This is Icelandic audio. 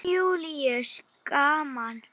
Jón Júlíus: Gaman?